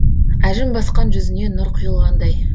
әжім басқан жүзіне нұр құйылғандай